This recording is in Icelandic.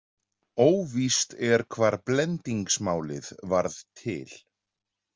Óvíst er hvar blendingsmálið varð til.